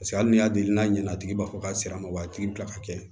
Paseke hali n'i y'a deli n'a ye ɲana tigi b'a fɔ k'a sera wa a tigi bi kila ka kɛ